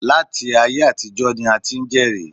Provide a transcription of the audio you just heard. Láti ayé àtijọ́ ni a ti ń jẹ́rìí